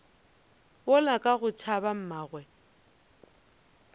yola ka go tšhaba mmagwe